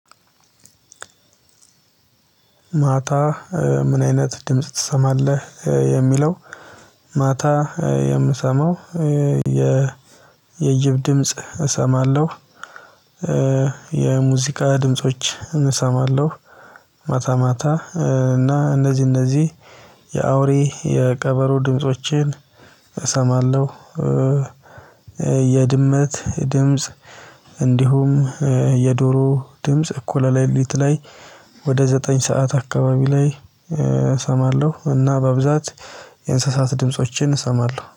ማታ ምን አይነት ድምጽ ትሰማለህ የሚለው? ማታ የምሰማው የጅብ ድምጽ እሰማለሁ። የሙዚቃ ድምፆችን እሰማለሁ። ማታ ማታ እና እነዚህ እነዚህ የአውሬ የቀበሮ ድምፆችን እሰማለሁ። የድመት ድምጽ እንዲሁም የዶሮ ድምጽ እኩለ ለሊት ላይ። ወደ ዘጠኝ ሰዓት አካባቢ ላይ እሰማለሁ እና በብዛት የእንስሳት ድምፆችን እሰማለሁ